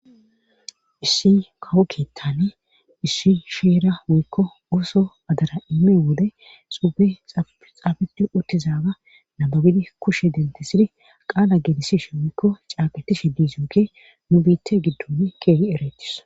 Issi kawo keeththane issi sheera wikko ooso adara imme wode xuube xaabeti uttizaaga nababidi kushe dentisidi qaala geelisishe wiikko caaqatishe diizunke nu biitte giddon keehi ereetis.